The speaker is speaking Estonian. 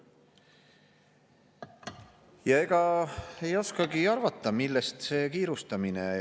Ja ega ei oskagi arvata, millest see kiirustamine.